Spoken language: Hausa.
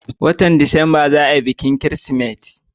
watan disamba za a yi bikin kirismas